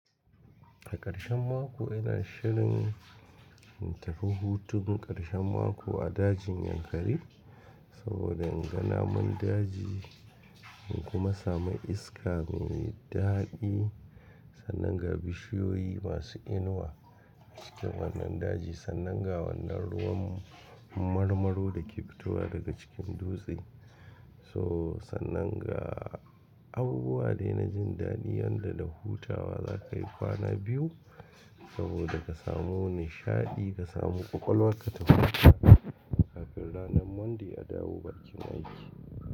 A ƙarshen mako ina shirin in tafi hutun ƙarshen mako a dajin Yankari saboda in ga namun daji in kuma samu iska mai daɗi sannan ga bishiyoyi masu inuwa cikin wannan daji sannan ga wannan ruwan marmaro da ke fitowa daga cikin dutse. So sannan ga abubuwa dai na jin daɗi yadda da hutawa za ka yi kwana biyu saboda ka samu nishaɗi ka samu ƙwaƙwalwa ka tafi aiki kafin ranan Monday a dawo bakin aiki.